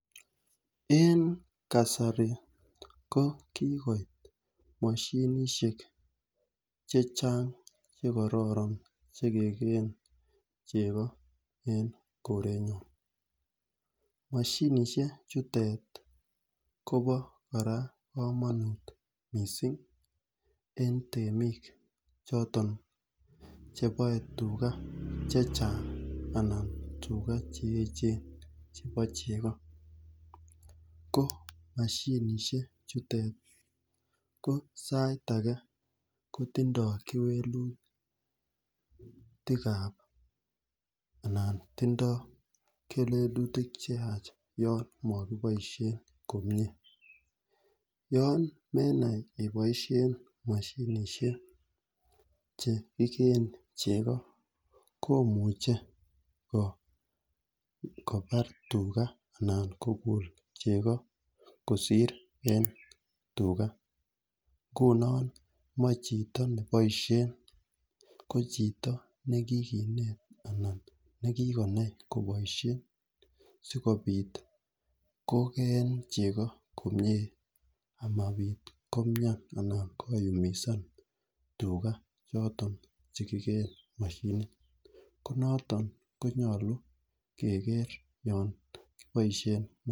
En kasari ko kikoit moshinishek Checheng chekororon chekekeen cheko en korenyon, moshinishek chutet Kobo kora komonut missing en temik choton chebole tugaa chechang ana tugaa cheyechen chebo cheko, ko mashinishek chute ko sait age kotindo kewelutikab anan timdo kewelutik cheyach yon kokoboishen komie. Yon menai iboishen moshinishek chekiken chego komuche kobar tugaa anan kokul chego kosir en tugaa nguni moi chito neblishen ko chito nekikinet anan nekikonai koboishen sikopit kokeen chego komie amobit komian anan koyumisan tugaa choto chekiken moshinit ko noton komyolu kegeer yon boishen.